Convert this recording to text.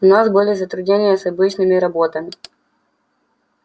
у нас были затруднения с обычными роботами